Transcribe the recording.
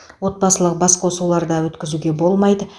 отбасылық басқосулар да өткізуге болмайды